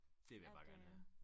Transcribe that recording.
Det vil jeg bare gerne have